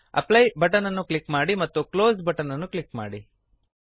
apply button ಅನ್ನು click ಮಾಡಿ ಮತ್ತು ಕ್ಲೋಸ್ ಬಟನ್ ಅನ್ನು ಕ್ಲಿಕ್ ಮಾಡಿ